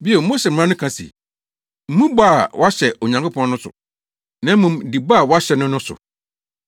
“Bio, Mose mmara no ka se, ‘Mmu bɔ a woahyɛ Onyankopɔn no so, na mmom di bɔ a woahyɛ no no so.’